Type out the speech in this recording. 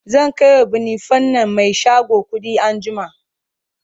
zan kaiwa banufen nan Mai shago kuɗi anjima